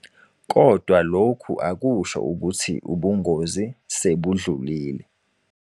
Kodwa lokhu akusho ukuthi ubungozi sebudlulile.